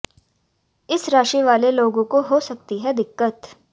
इन राशि वाले लोगों को हो सकती है दिक्कत